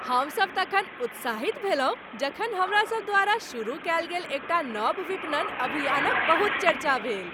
हमसभ तखन उत्साहित भेलहुँ जखन हमरासभ द्वारा शुरू कयल गेल एकटा नव विपणन अभियानक बहुत चर्चा भेल।